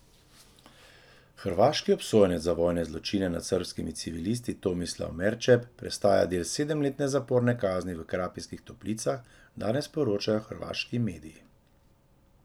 Hrvaški obsojenec za vojne zločine nad srbskimi civilisti Tomislav Merčep prestaja del sedemletne zaporne kazni v Krapinskih toplicah, danes poročajo hrvaški mediji.